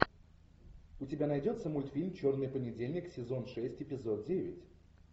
у тебя найдется мультфильм черный понедельник сезон шесть эпизод девять